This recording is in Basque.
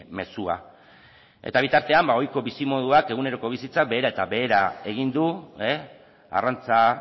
mezua eta bitartean ohiko bizimoduak eguneroko bizitza behera eta behera egin du arrantza